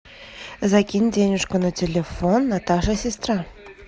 закинь денежку на телефон наташа сестра